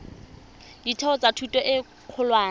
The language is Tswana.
ditheo tsa thuto e kgolwane